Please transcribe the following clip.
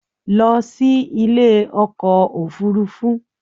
Lọ sí ilé ọkọ̀ òfurufú